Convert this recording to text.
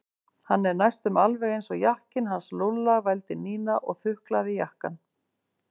Hann er næstum alveg eins og jakkinn hans Lúlla vældi Nína og þuklaði jakkann.